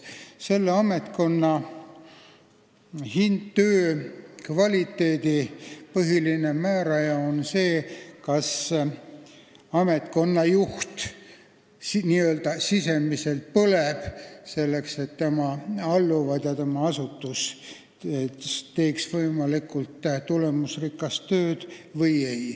Selle ametkonna väärtus, töö kvaliteet oleneb põhiliselt sellest, kas ametkonna juht sisemiselt põleb selle nimel, et tema alluvad, tema asutus teeks võimalikult tulemusrikast tööd.